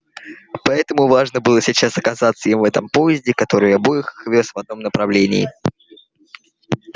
поэтому важно было сейчас оказаться им в этом поезде который обоих их вёз в одном направлении